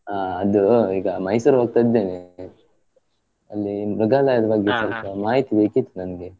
ಹ ಅದು ಈಗ Mysore ಹೋಗ್ತಾ ಇದ್ದೇನೆ, ಅಲ್ಲಿ ಮೃಗಾಲಯದ ಮಾಹಿತಿ ಬೇಕಿತ್ತು ನಮ್ಗೆ.